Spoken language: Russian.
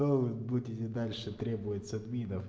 то вы будете дальше требовать с админов